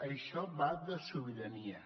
això va de sobirania